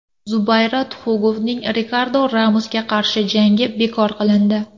Zubayra Tuxugovning Rikardo Ramosga qarshi jangi bekor qilindi.